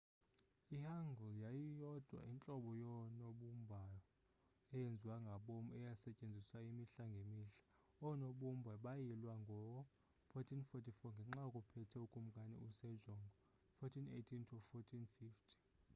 i-hangeul yiyo yodwa intlobo yoonobumbao eyenziwa ngabom esetyenziswa imihla ngemihla. oonobumba bayilwa ngo-1444 ngexa kuphethe ukumkani u-sejong 1418 – 1450